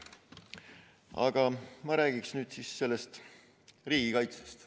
Aga ma räägin nüüd riigikaitsest.